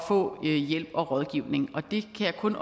få hjælp og rådgivning og det kan jeg kun